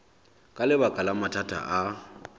ka lebaka la mathata a